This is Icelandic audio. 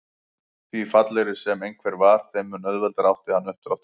Því fallegri sem einhver var þeim mun auðveldara átti hann uppdráttar.